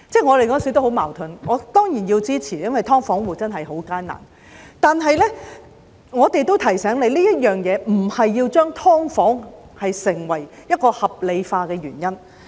我當時感到很矛盾，我當然是要支持的，因為"劏房戶"的情況真的很艱難，但我也要提醒政府，這不能成為將"劏房"合理化的原因。